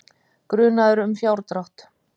Grunaður um fjárdrátt